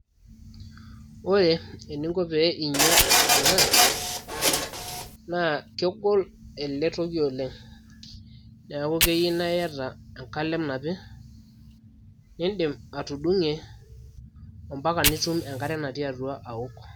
Ore eninko piinyia ena naa kegol ele toki oleng neeku keyieu naa iyata enkalem napi nindim atudung'ie mpaka nitum enkare natii atua awok.